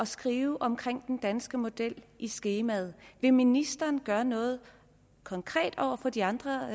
skrive om den danske model i skemaet vil ministeren gøre noget konkret over for de andre